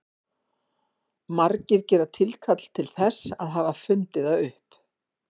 Margir gera tilkall til þess að hafa fundið það upp.